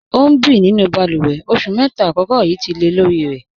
Ọ n bí nínú bálúwè, ọṣù mẹ́ta àkọ̀kọ̀ yíí tì lẹ̀ lorì rẹ̀.